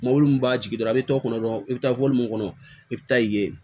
Mɔbili min b'a jigi dɔrɔn a bɛ tɔ kɔnɔ dɔrɔn i bɛ taa fɔli min kɔnɔ i bɛ taa i ye